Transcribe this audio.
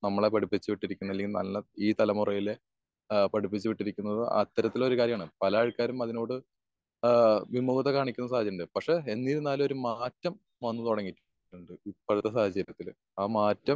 നമ്മളെ പഠിപ്പിച്ച് വീട്ടിരിക്കുന്ന അല്ലെങ്കി നല്ല ഈ തലമുറയിലെ ആഹ് പഠിപ്പിച്ച് വീട്ടിരിക്കുന്നതും അത്തരത്തിലൊരു കാര്യാണ്. പല ആൾക്കാരും അതിനോട് ആഹ് വിമൂഗത കാണിക്കുന്ന സാഹചര്യണ്ട്. പക്ഷെ എന്നിരുന്നാലും ഒരു മാറ്റം വന്ന് തുടങ്ങിയിട്ടുണ്ട് ഇപ്പഴത്തെ സാഹചര്യത്തില്. ആ മാറ്റം